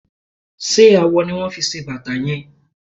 Ṣé awọ ni wón fi ṣe bàtà yẹn?